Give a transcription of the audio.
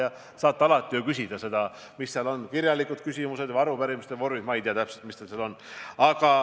Te saate ju alati selle ise üle küsida kas kirjaliku küsimuse või arupärimise vormis – ma ei tea, mis võimalused teil seal täpselt on.